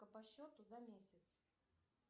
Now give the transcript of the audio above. по счету за месяц